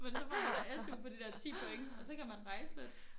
Så får man der SU for de der 10 point og så kan man rejse lidt